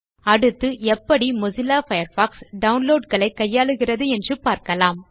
அடுத்து எப்படி Mozilla Firefox download களை கையாளுகிறது என்று பார்க்கலாம்